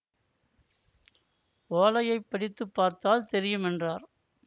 ஓலையை படித்து பார்த்தால் தெரியும் என்றார்